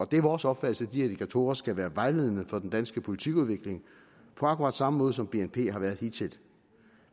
det er vores opfattelse at de her indikatorer skal være vejledende for den danske politikudvikling på akkurat samme måde som bnp har været hidtil